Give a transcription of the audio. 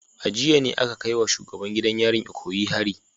A jiya ne aka kai wa shugaban gidan yarin Ikoyi hari